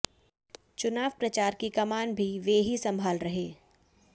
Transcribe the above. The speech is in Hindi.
चुनाव प्रचार की कमान भी वे ही संभाले रहे